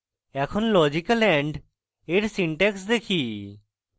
এখন logical and এর syntax দেখি